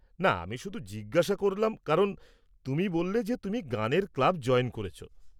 না, আমি শুধু জিজ্ঞেস করলাম, কারণ তুমি বললে যে তুমি গানের ক্লাব জয়েন করেছ।